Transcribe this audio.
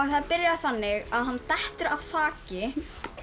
það byrjar þannig að hann dettur af þaki og